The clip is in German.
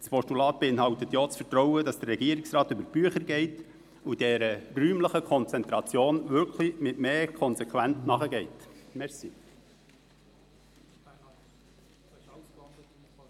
Ein Postulat beinhaltet ja auch das Vertrauen, dass der Regierungsrat über die Bücher geht und die räumliche Konzentration wirklich mit mehr Konsequenz prüft.